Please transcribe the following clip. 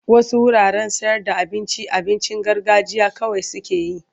Wasu wuraren sayarda abincin abincin garganjiya kawai suke yi.